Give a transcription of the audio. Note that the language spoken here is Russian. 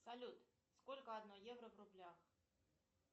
салют сколько одно евро в рублях